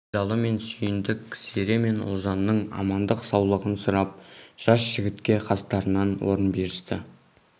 байдалы мен сүйіндік зере мен ұлжанның амандық-саулығын сұрап жас жігітке қастарынан орын берісті